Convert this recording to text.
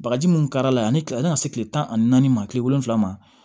Bagaji mun kari la ani ka se kile tan ani naani ma kile wolonfila ma